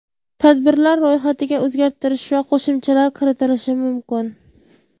Tadbirlar ro‘yxatiga o‘zgartirish va qo‘shimchalar kiritilishi mumkin.